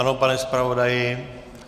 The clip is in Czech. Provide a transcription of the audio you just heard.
Ano, pane zpravodaji?